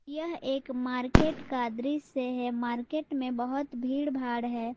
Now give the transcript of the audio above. यह एक मार्केट का दृश्य है मार्केट में बहुत भीड़ भाड़ है।